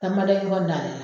Fɛn ba dɔ i b'o bila a da la.